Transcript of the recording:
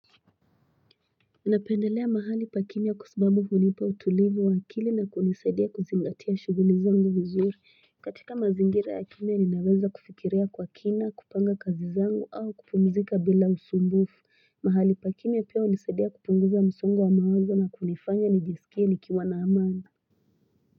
Ninapendelea mahali pakimya kwa sababu hunipa utulivu wa akili na kunisaidia kuzingatia shughuli zangu vizuri katika mazingira ya kimya ninaweza kufikiria kwa kina kupanga kazi zangu au kupumzika bila usumbufu mahali pakimya pia hunisaidia kupunguza msongo wa mawazo na kunifanya nijisikie nikiwa na amani.